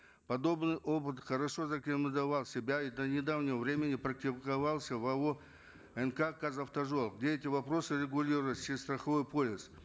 подобный опыт хорошо зарекомендовал себя и до недавнего времени практиковался в ао нк казавтожол где эти вопросы регулировались через страховой полис